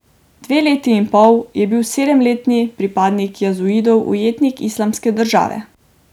Dve leti in pol je bil sedemletni pripadnik jazidov ujetnik Islamske države.